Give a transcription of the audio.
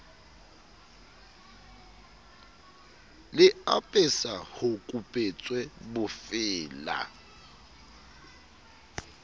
le apesa ho kupetswe bofeela